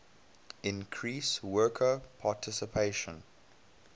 increase worker participation